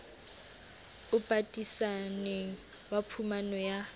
o patisaneng wa phumano ya